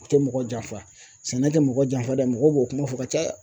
U tɛ mɔgɔ janfa sɛnɛ tɛ mɔgɔ janfa dɛ mɔgɔ b'o kuma fɔ ka caya